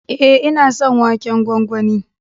E, ina son waken gwangwani.